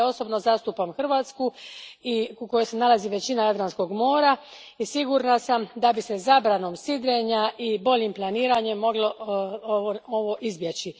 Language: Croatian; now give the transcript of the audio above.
Ovdje osobno zastupam Hrvatsku, u kojoj se nalazi većina Jadranskog mora i sigurna sam da bi se zabranom sidrenja i boljim planiranjem ovo moglo izbjeći.